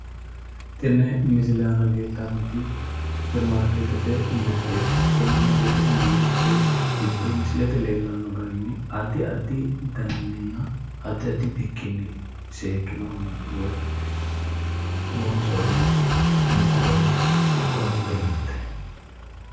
Tenne misile aana leeltannoti superimaarkete mirteeti superimaarkeettete giddo musilete leellanno garinni addi addi daninni addi addi bikkinni loonsoonni mokoroonete mirteeti.